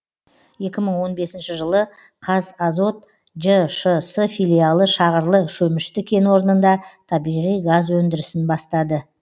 екі мың он бесінші жылы қазазот жшс филиалы шағырлы шөмішті кен орнында табиғи газ өндірісін бастады